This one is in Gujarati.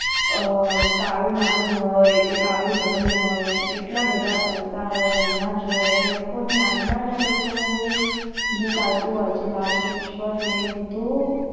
અ કાળો નાણું હોય કે કાળું ધન હોય કે કેટલા બધા પૈસા હોય હમણાં જોયા લોકોની યાદમાં જ આ લોકોનું જે ચાલતું હોય છે. લાજ માં રિશ્વત ને બધું